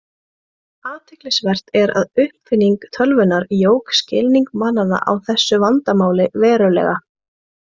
Athyglisvert er að uppfinning tölvunnar jók skilning manna á þessu vandamáli verulega.